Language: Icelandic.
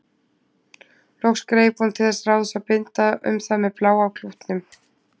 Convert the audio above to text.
Loks greip hún til þess ráðs að binda um það með bláa klútnum.